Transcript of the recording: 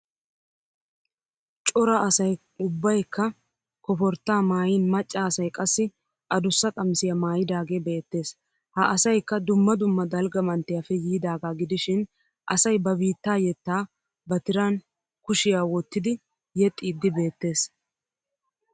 Cora asay ubbaykka koforttaa maayin macca asay qassi adussa qamisiya maayidaagee beettes. Ha asayikka dumma dumma dalgga manttiyappe yidaagaa gidishin asay ba biittaa yettaa ba tiran kushiyaa wottidi yexxiiddi beettes.